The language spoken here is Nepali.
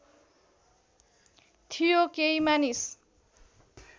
थियो केही मानिस